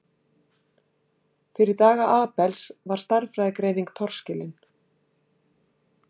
Fyrir daga Abels var stærðfræðigreining torskilin.